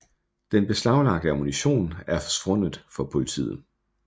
Den beslaglagte ammunition er forsvundet for politiet